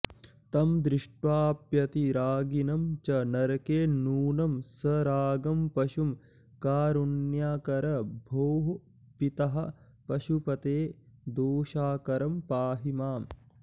तं दृष्ट्वाऽप्यतिरागिणं च नरके नूनं सरागं पशुं कारुण्याकर भोः पितः पशुपते दोषाकरं पाहि माम्